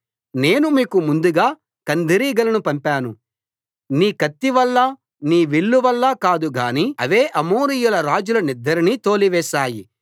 నేను మీకు ముందుగా కందిరీగలను పంపాను నీ కత్తి వల్ల నీ విల్లు వల్ల కాదు గాని అవే అమోరీయుల రాజుల నిద్దరిని తోలివేశాయి